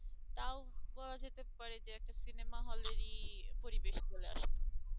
করা যেতে পারে যে একটা সিনেমাহলের ই পরিবেশ চলে আসতো।